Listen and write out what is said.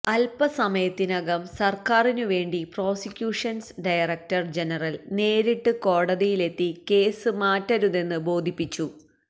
അല്പസമയത്തിനകം സര്ക്കാറിനു വേണ്ടി പ്രോസിക്യൂഷന്സ് ഡയറക്ടര് ജനറല് നേരിട്ട് കോടതിയിലെത്തി കേസ് മാറ്റരുതെന്ന് ബോധിപ്പിച്ചു